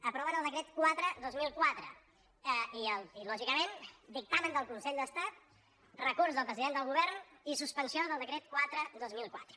aproven el decret quatre dos mil quatre i lògicament dictamen del consell d’estat recurs del president del govern i suspensió del decret quatre dos mil quatre